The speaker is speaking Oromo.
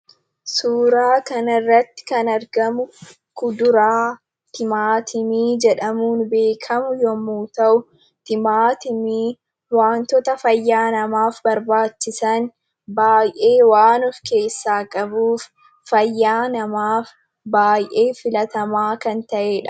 Suuraa kana irratti kan argamu, kuduraa, timaatimii jedhamuun beekamu yemmuu ta'u, timaatimni waantota fayyaa namaaf barbaachisan baayyee waan of keessaa qabuuf fayyaa namaaf baayyee filatamaa kan ta'edha.